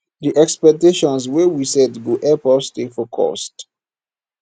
di expectations wey we set go help us stay focused